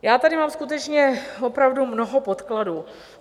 Já tady mám skutečně opravdu mnoho podkladů.